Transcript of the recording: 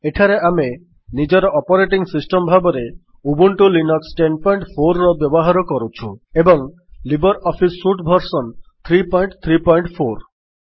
ଏଠାରେ ଆମେ ନିଜର ଅପରେଟିଙ୍ଗ୍ ସିଷ୍ଟମ୍ ଭାବରେ ଉବୁଣ୍ଟୁ ଲିନକ୍ସ ୧୦୦୪ ର ବ୍ୟବହାର କରୁଛୁ ଏବଂ ଲିବର୍ ଅଫିସ୍ ସୁଟ୍ ଭର୍ସନ୍ ୩୩୪